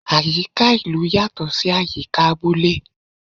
Àyíká ìlú yatọ sí àyíká abúlé